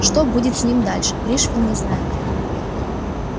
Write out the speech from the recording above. что будет с ним дальше пришвин не знает